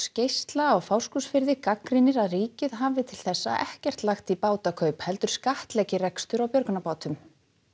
geisla á Fáskrúðsfirði gagnrýnir að ríkið hafi til þessa ekkert lagt í heldur skattleggi rekstur á björgunarbátum